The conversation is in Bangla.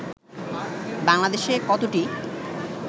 বাংলাদেশে কতটি